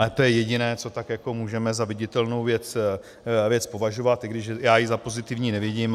Ale to je jediné, co tak jako můžeme za viditelnou věc považovat, i když já ji za pozitivní nevidím.